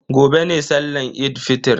Gobe ne sallan Eid fitr.